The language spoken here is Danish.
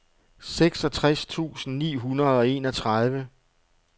seksogtres tusind ni hundrede og enogtredive